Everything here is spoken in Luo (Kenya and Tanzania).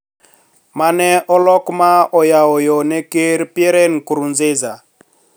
Mane olok ma oyawo yo ne ker Pierre Nkurunziza